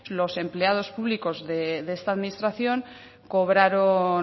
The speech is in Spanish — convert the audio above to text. los empleados públicos de esta administración